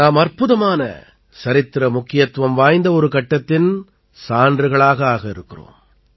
நாம் அற்புதமானசரித்திர முக்கியத்துவம் வாய்ந்த ஒரு கட்டத்தின் சான்றுகளாக ஆக இருக்கிறோம்